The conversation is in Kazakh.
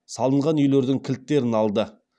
салынған үйлердің кілттерін алды